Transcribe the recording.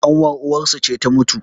ƙanwar uwarsu ce ta mutu